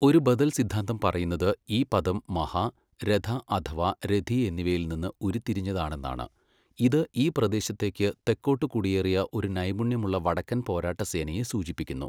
ഒരു ബദൽ സിദ്ധാന്തം പറയുന്നത് ഈ പദം മഹാ, രഥ അഥവാ രഥി എന്നിവയിൽ നിന്ന് ഉരുത്തിരിഞ്ഞതാണെന്നാണ്, ഇത് ഈ പ്രദേശത്തേക്ക് തെക്കോട്ട് കുടിയേറിയ ഒരു നൈപുണ്യമുള്ള വടക്കൻ പോരാട്ട സേനയെ സൂചിപ്പിക്കുന്നു.